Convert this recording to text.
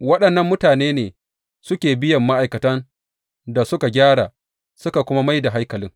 Waɗannan mutane ne suke biyan ma’aikatan da suka gyara suka kuma mai da haikalin.